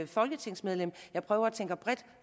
folketingsmedlem jeg prøver at tænke bredt